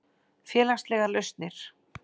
Félagslegar lausnir